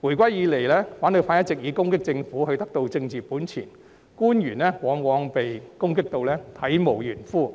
回歸以來，反對派一直以攻擊政府獲取政治本錢，官員往往被攻擊得體無完膚，